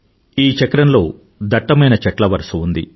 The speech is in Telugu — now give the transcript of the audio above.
ఈ చక్రంలో దట్టమైన చెట్ల వరుస ఉంది